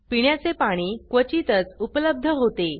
पिण्याचे पाणी क्वचितच उपलब्ध होते